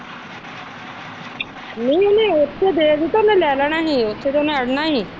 ਨਹੀ ਉਹਨੇ ਉਥੇ ਦੇ ਦਿਤਾ ਉਹਨੇ ਲੈ ਲੈਣਾ ਉਥੇ ਅੜਨਾ ਹੀ ਸੀ।